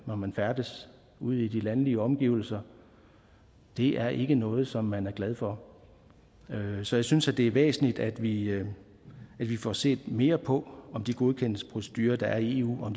når man færdes ude i de landlige omgivelser er ikke noget som man er glad for så jeg synes det er væsentligt at vi vi får set mere på om de godkendelsesprocedurer der er i eu